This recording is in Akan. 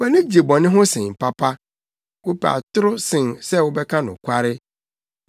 Wʼani gye bɔne ho sen papa, wopɛ atoro sen sɛ wobɛka nokware.